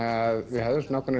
við höfðum ákveðnar